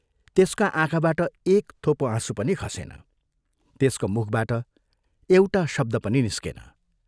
त्यसका आँखाबाट एक थोपो आँसु पनि खसेन, त्यसको मुखबाट एउटा शब्द पनि निस्केन।